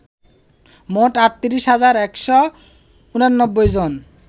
মোট ৩৮ হাজার ১৮৯ জন